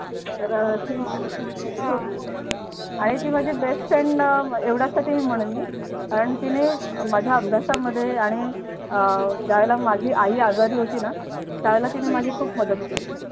तर अह ती आहे ती माझी best friend एवढ्यासाठी म्हणेन मी कारण तिने माझ्या अभ्यासामध्ये आणि अह ज्यावेळेला माझी आई आजारी होती ना त्यावेळेला तिने माझी खूप मदत केली.